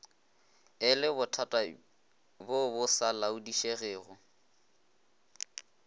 e lebothatabjo bo sa laodišegego